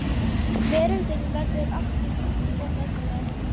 Veröldin verður aftur mjúk og mömmuleg.